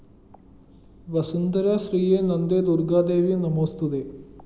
വസുന്ധരശ്രീയേ നന്ദേ ദുര്‍ഗ്ഗാദേവി നമോസ്തുതേ